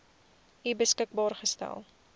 u beskikbaar gestel